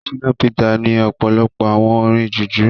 Shina peter ní ọ̀pọ̀lọpọ̀ àwo orin jùjú.